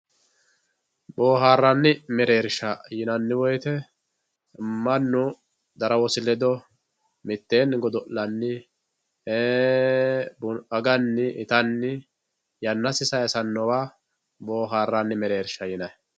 Booharanni mereerisha yinanni woyite manu darawossi ledo mitteeni godo'lanni ittanni aganni yanasi sayisanowa booharanni mereerisha yinayi